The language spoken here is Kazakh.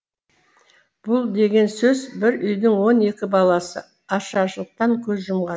бұл деген сөз бір үйдің он екі баласы ашаршылықтан көз жұмған